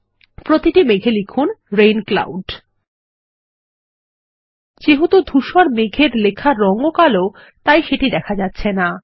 প্রতিটি মেঘ এ লিখুন রেইন ক্লাউড যেহেতু ধুসর মেঘের লেখার রঙ ও কালো তাই সেটি দেখা যাচ্ছে না